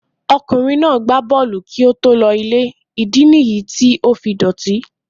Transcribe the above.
Ọkùnrin náà gbá bọ́ọ̀lù kí ó tó lọ ilé, ìdí nì yìí tí ó fi dọ̀tí.